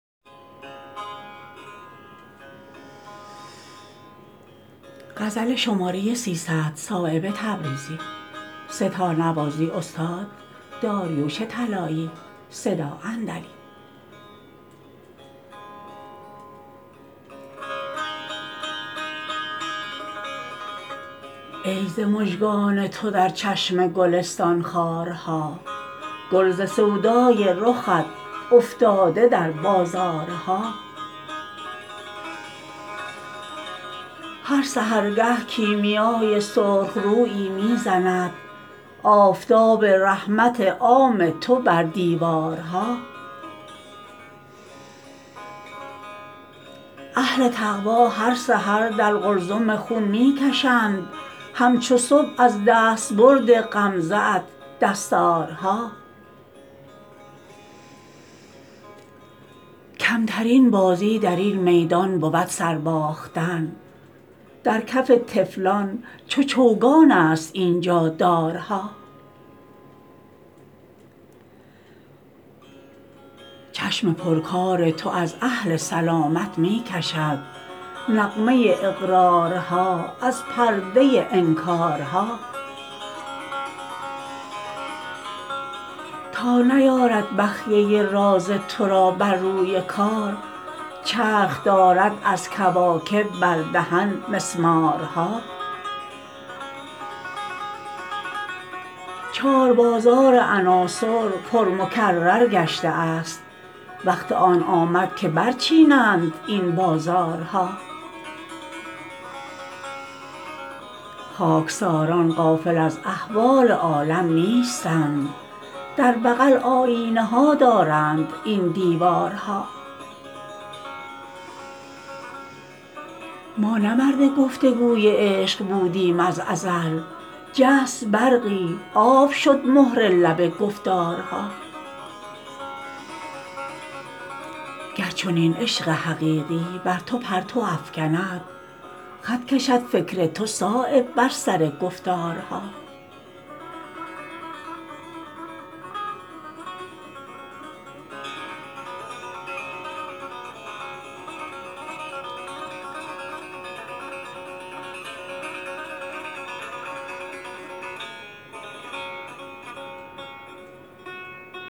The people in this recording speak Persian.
ای ز مژگان تو در چشم گلستان خارها گل ز سودای رخت افتاده در بازارها هر سحرگه کیمیای سرخ رویی می زند آفتاب رحمت عام تو بر دیوارها اهل تقوی هر سحر در قلزم خون می کشند همچو صبح از دستبرد غمزه ات دستارها کمترین بازی درین میدان بود سر باختن در کف طفلان چو چوگان است اینجا دارها چشم پر کار تو از اهل سلامت می کشد نغمه اقرارها از پرده انکارها تا نیارد بخیه راز ترا بر روی کار چرخ دارد از کواکب بر دهن مسمارها چار بازار عناصر پر مکرر گشته است وقت آن آمد که برچینند این بازارها خاکساران غافل از احوال عالم نیستند در بغل آیینه ها دارند این دیوارها ما نه مرد گفتگوی عشق بودیم از ازل جست برقی آب شد مهر لب گفتارها گر چنین عشق حقیقی بر تو پرتو افکند خط کشد فکر تو صایب بر سر گفتارها